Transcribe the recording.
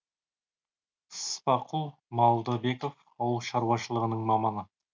спақұл малдыбеков ауыл шаруашылығының маманы